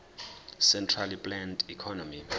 centrally planned economy